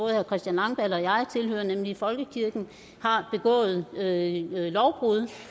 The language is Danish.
herre christian langballe og jeg tilhører nemlig folkekirken har begået lovbrud